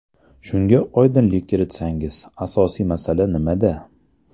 Shunga oydinlik kiritsangiz, asosiy masala nimada?